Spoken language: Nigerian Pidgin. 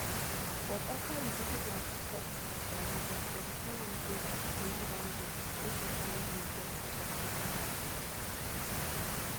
but after e visit like six hospitals for abuja dem tell am say im eye don go make e find way get prosthetic eye